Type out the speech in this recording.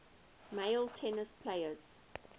male tennis players